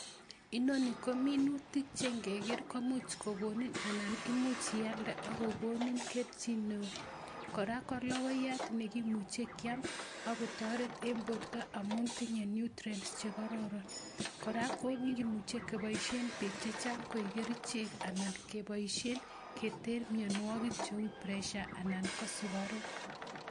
Inoni ko minutik chenge ger komuch kogonin anan much ialde akogonin keljin neo, koraa ko lokoyat nekimuche keam akotoret eng' porto amun tinyei nutrients che kororon, koraa komeche kopaishen piik chechang' koek kerchek anan kepoishe keter imianwogik cheu pressure anan ko sukaruk.